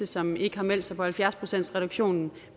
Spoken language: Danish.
som ikke har meldt sig til halvfjerds procentsreduktionen